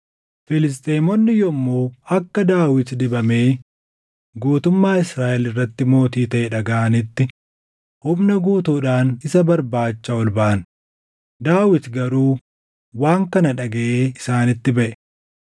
Filisxeemonni yommuu akka Daawit dibamee guutummaa Israaʼel irratti mootii taʼe dhagaʼanitti humna guutuudhaan isa barbaacha ol baʼan; Daawit garuu waan kana dhagaʼee isaanitti baʼe.